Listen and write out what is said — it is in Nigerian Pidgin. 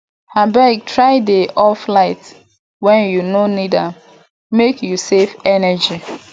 abeg try dey off light wen you no need am make you save energy